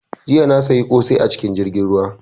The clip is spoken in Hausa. Jiya na siya kosai a cikin jirgin ruwa